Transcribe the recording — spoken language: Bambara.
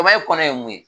kɔnɔ ye mun ye